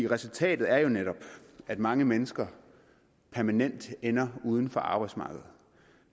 resultatet er jo netop at mange mennesker permanent ender uden for arbejdsmarkedet